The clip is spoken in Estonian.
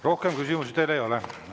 Rohkem küsimusi teile ei ole.